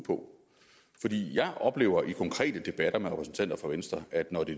på jeg oplever i konkrete debatter med repræsentanter for venstre at når det